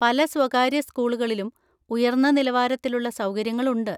പല സ്വകാര്യ സ്കൂളുകളിലും ഉയർന്ന നിലവാരത്തിലുള്ള സൗകര്യങ്ങളുണ്ട്.